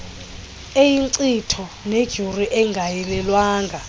eyinkcitho neduru engayilelwanga